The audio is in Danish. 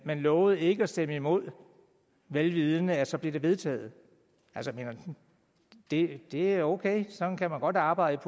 man lovede ikke at stemme imod vel vidende at så blev det vedtaget det er okay sådan kan man godt arbejde